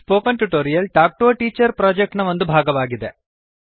spoken tutorial talk to a teacher project ನ ಒಂದು ಭಾಗವಾಗಿದೆ